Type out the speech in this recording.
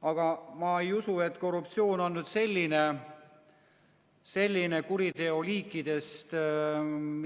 Aga ma ei usu, et korruptsioon on selline kuriteoliik,